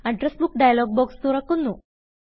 address book dialog box തുറക്കുന്നു